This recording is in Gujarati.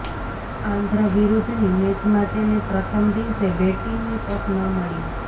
આંધ્ર વિરુદ્ધની મેચમાં તેને પ્રથમ દિવસે બેટિંગની તક ન મળી